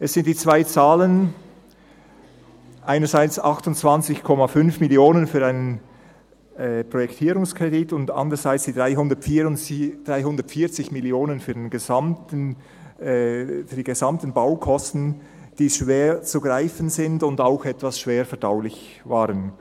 Es sind die zwei Zahlen – einerseits 28,5 Mio. Franken für einen Projektierungskredit und andererseits 340 Mio. Franken für die gesamten Baukosten –, die schwer zu greifen sind und auch etwas schwer verdaulich waren.